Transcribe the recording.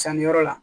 Sanniyɔrɔ la